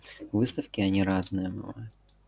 выставки они разные бывают